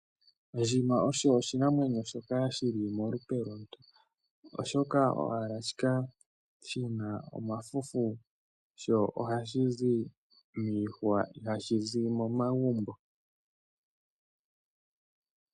Ondjima osho oshinamwenyo shoka shili molupe lomuntu oshoka ohashi kala shina omafufu sho ohashi zi miihwa ihashi zi momagumbo.